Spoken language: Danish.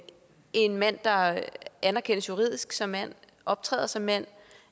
en mand der anerkendes juridisk som mand optræder som mand